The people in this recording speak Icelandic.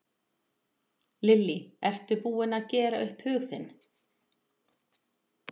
Lillý: Ertu búin að gera upp hug þinn?